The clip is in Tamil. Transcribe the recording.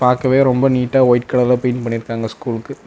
பாக்கவே ரொம்ப நீட்ட அ வைட் கலர்ல பெயிண்ட் பண்ணிருக்காங்க ஸ்கூல்க்கு .